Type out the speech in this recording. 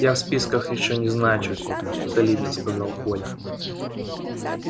я в списках ещё не значусь солидно сказал коля